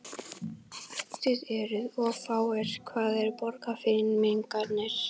Þið eruð of fáir, hvar eru Borgfirðingarnir?